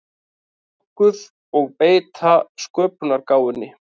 nokkuð og beita sköpunargáfunni.